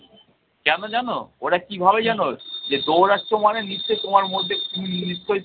কেন জানো? ওরা কী ভাবে জানো? যে দৌড়াচ্ছ মানে নিশ্চয়ই তোমার মধ্যে নিশ্চয়ই